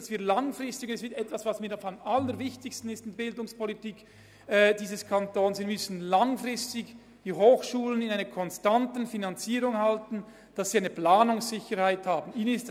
Es ist sehr wichtig, die Hochschulen langfristig konstant zu finanzieren und ihnen eine Planungssicherheit zu ermöglichen.